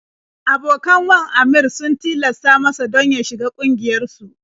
Abokan wan Aminr sun tilasta masa don ya shiga ƙungiyarsu.